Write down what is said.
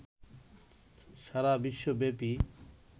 সারা বিশ্বব্যপী